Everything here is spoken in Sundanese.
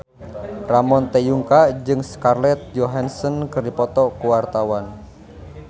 Ramon T. Yungka jeung Scarlett Johansson keur dipoto ku wartawan